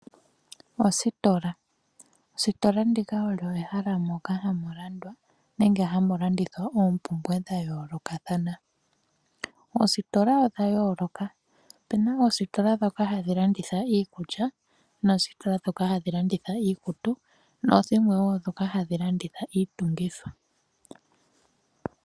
Oositola, oositola ndika olyo ehala moka hamu landwa nenge hamu landithwa oompumbwe dha yolokathana. Oositola odha yoloka ope na oositola dhoka hadhi landitha iikulya noositola dhoka hadhi landitha iikutu na dhilwe wo dhoka hadhi landitha iitungithwa.